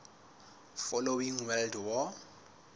following world war